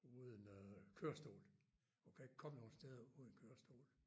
Uden øh kørestol hun kan ikke komme nogle steder uden kørestol